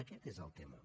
aquest és el tema